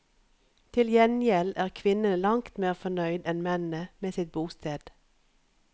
Til gjengjeld er kvinnene langt mer fornøyd enn mennene med sitt bosted.